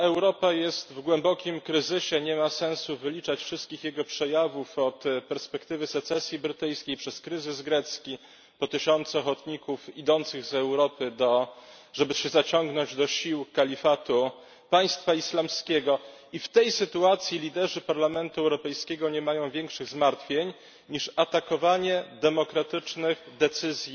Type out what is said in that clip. Europa jest w głębokim kryzysie, nie ma sensu wyliczać wszystkich jego przejawów od perspektywy secesji brytyjskiej przez kryzys grecki po tysiące ochotników zdążających z Europy, żeby się zaciągnąć do sił Państwa Islamskiego i w tej sytuacji liderzy Parlamentu Europejskiego nie mają większych zmartwień niż atakowanie demokratycznych decyzji